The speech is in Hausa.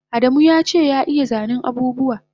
Adamu yace ya iya zanen abubuwa